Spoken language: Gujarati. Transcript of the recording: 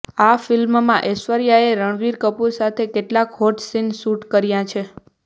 આ ફિલ્મમાં ઐશ્વર્યાએ રણબીર કપૂરની સાથે કેટલાક હોટ સીન શૂટ કર્યા છે